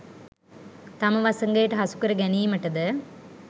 තම වසඟයට හසුකර ගැනීමට ද